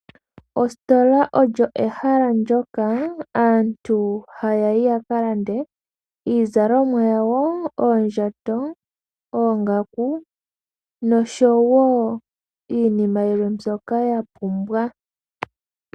Ositola olyo ehala ndyoka aantu haya yi ya kalande iizalomwa yawo, oondjato, oongaku nosho woo iinima yilwe mbyoka ya pumbwa.